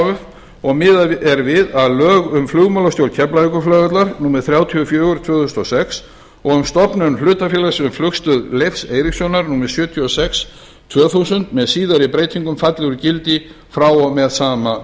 f og miðað er við að lög um flugmálastjórn keflavíkurflugvallar númer þrjátíu og fjögur tvö þúsund og sex og um stofnun hlutafélags um flugstöð leifs eiríkssonar númer sjötíu og sex tvö þúsund með síðari breytingum falli úr gildi frá og með sama